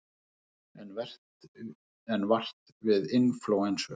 Enn vart við inflúensu